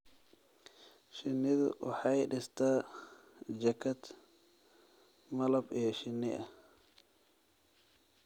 Shinnidu waxay dhistaa jaakad malab iyo shinni ah.